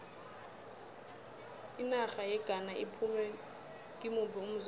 inarha yeghana iphume kimuphi umzombe